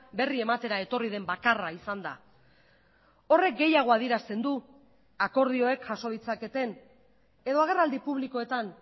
berri ematera etorri den bakarra izan da horrek gehiago adierazten du akordioek jaso ditzaketen edo agerraldi publikoetan